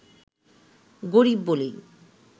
গরিব বলেই